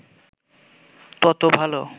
তত ভালো